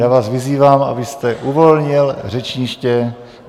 Já vás vyzývám, abyste uvolnil řečniště.